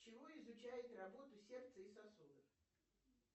чего изучает работу сердца и сосудов